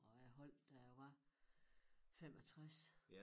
Og jeg holdt da jeg var 65